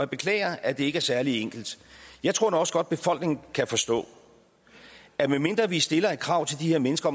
beklager at det ikke er særlig enkelt jeg tror nu også godt at befolkningen kan forstå at medmindre vi stiller et krav til de her mennesker